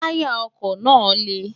táyà ọkọ̀ náà le